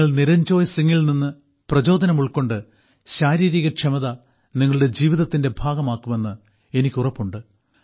നിങ്ങൾ നിരഞ്ജോയ് സിംഗിൽ നിന്ന് പ്രചോദനമുൾക്കൊണ്ട് ശാരീരിക ക്ഷമത നിങ്ങളുടെ ജീവിതത്തിന്റെ ഭാഗമാക്കുമെന്ന് എനിക്കുറപ്പുണ്ട്